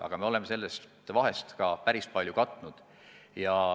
Aga me oleme sellest vahest juba päris palju katnud.